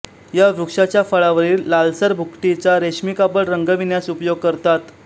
या वृक्षाच्या फळावरील लालसर भुकटीचा रेशमी कापड रंगविण्यास उपयोग करतात